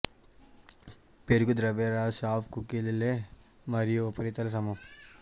పెరుగు ద్రవ్యరాశి హాఫ్ కుకీల లే మరియు ఉపరితల సమం